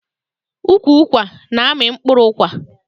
Ukwu ụkwa na-amị mkpụrụ ụkwa.